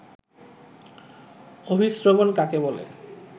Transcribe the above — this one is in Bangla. অভিস্রবণ কাকে বলে